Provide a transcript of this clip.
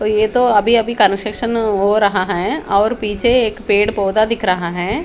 तो यह तो अभी अभी कंस्ट्रक्शन हो रहा है और पीछे एक पेड़ पौधा दिख रहा है।